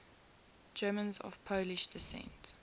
germans of polish descent